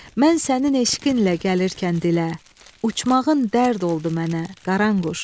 Mən sənin eşqinlə gəlirkən dilə, uçmağın dərd oldu mənə, Qaranquş.